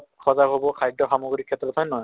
সজাগ হʼৱ খাদ্য় সামগ্ৰিৰ ক্ষেত্ৰত, হয় নে নহয়?